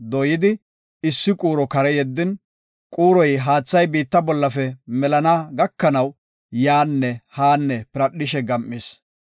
dooyidi issi quuro kare yeddin quuroy haathay biitta bollafe melana gakanaw, yaanne haanne piradhishe gam7is.